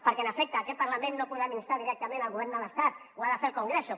perquè en efecte en aquest parlament no podem instar directament el govern de l’estat ho ha de fer el congreso